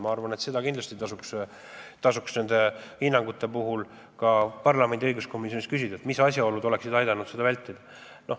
Ma arvan, et praegu tasuks kindlasti ka parlamendi õiguskomisjonil kelleltki küsida, mismoodi oleks saanud seda kõike vältida.